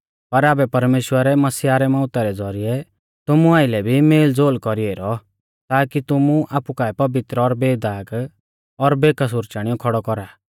पर आबै परमेश्‍वरै मसीह रै मौउता रै ज़ौरिऐ तुमु आइलै भी मेलज़ोल कौरी ऐरौ ताकि तुमु आपु काऐ पवित्र और बेदाग और बेकसूर चाणियौ खौड़ौ कौरा